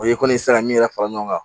O ye kɔni sera min yɛrɛ fara ɲɔgɔn kan